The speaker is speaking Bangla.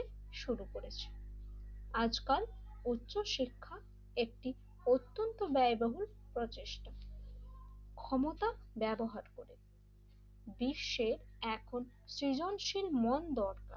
শুরু করেছে আজকাল উচ্চশিক্ষা একটি অত্যন্ত ব্যয়বহুল প্রচেষ্টা ক্ষমতা ব্যবহার করে বিশ্বে এক সৃজনশীল মন দরকার,